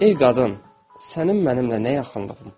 Ey qadın, sənin mənimlə nə yaxınlığın?